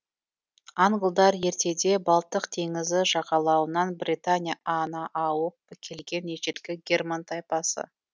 англдар ертеде балтық теңізі жағалауынан британия а на ауып келген ежелгі герман тайпасы